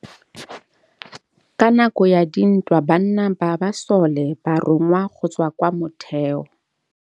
Ka nakô ya dintwa banna ba masole ba rongwa go tswa kwa mothêô.